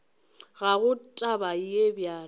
ga go taba ye bjalo